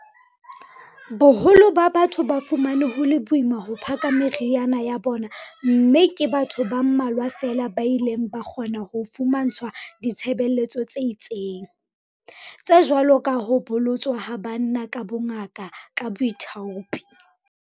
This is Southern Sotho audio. Boholo ba batho ba fumane ho le boima ho phaka meriana ya bona mme ke batho ba mmalwa feela ba ileng ba kgona ho fumantshwa ditshebeletso tse itseng, tse jwalo ka ho bolotswa ha banna ka bongaka ka boithaupi.